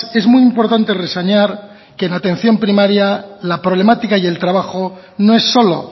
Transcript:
es muy importante reseñar que en atención primaria la problemática y el trabajo no es solo